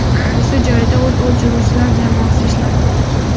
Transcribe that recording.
Hodisa joyida o‘t o‘chiruvchilar jamoasi ishlamoqda.